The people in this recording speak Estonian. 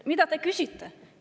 "Mida te küsite?